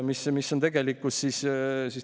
See on tegelikkus.